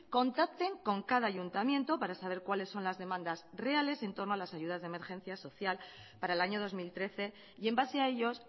contacten con cada ayuntamiento para saber cuáles son las demandas reales en torno a las ayudas de emergencia social para el año dos mil trece y en base a ellos